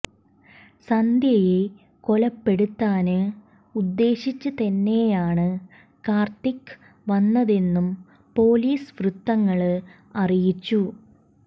സന്ധ്യയെ കൊലപ്പെടുത്താന് ഉദ്ദേശിച്ച് തന്നെയാണ് കാര്ത്തിക് വന്നതെന്നും പൊലീസ് വൃത്തങ്ങള് അറിയിച്ചു